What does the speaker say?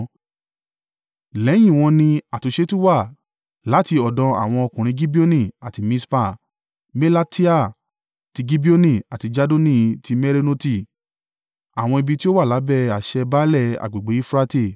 Lẹ́yìn in wọn ni àtúnṣe tún wà láti ọ̀dọ̀ àwọn ọkùnrin Gibeoni àti Mispa; Melatiah ti Gibeoni àti Jadoni ti Meronoti; àwọn ibi tí ó wà lábẹ́ àṣẹ baálẹ̀ agbègbè Eufurate.